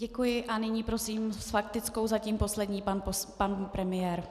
Děkuji a nyní prosím s faktickou, zatím poslední, pan premiér.